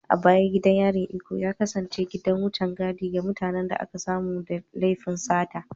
A baya gidan yarin Ikoyi ya kasance gidan wucen gadi ga mutanen da aka samu da laifin sata